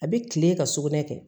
A bɛ kile ka sugunɛ kɛ